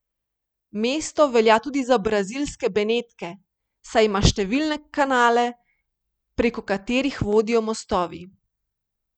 Mesto velja tudi za brazilske Benetke, saj ima številne kanale, preko katerih vodijo mostovi.